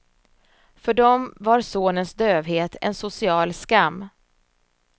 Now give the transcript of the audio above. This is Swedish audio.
För dem var sonens dövhet en social skam.